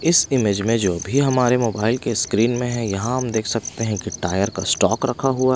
इस इमेज में जो भी हमारे मोबाइल के स्क्रीन में है यहाँ हम देख सकते हैं कि टायर का स्टॉक रखा हुआ है।